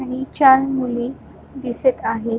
आणि चार मुले दिसत आहेत.